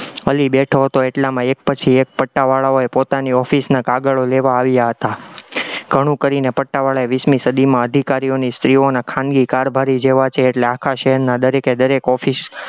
અલી બેઠો હતો એટલામાં એક પછી એક પટાવાળાઓએ પોતાની office ના કાગળો લેવા આવ્યા હતા, ઘણું કરીને પટાવાળાએ વીસમી સદીમાં અધિકારીઓની સ્ત્રીઓના ખાનગી કારભારી જેવા છે, એટલે આખા શહેરના દરેકે દરેક office